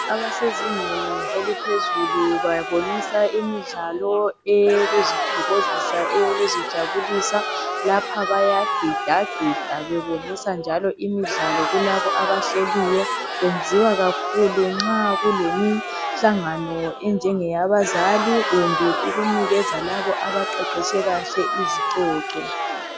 Abasezingeni eliphezulu, babonisa imidlalo eyokuzithokozisa, eyokuzijabulisa. Lapha bayagidagida. Bebonisa njalo imidlalo kulabo abahleliyo. Kwenziwa kakhulu nxa kulemihlangano, enjenge yabazali, kumbe ukunikeza labo, abaqeqetshe kahle izicoco,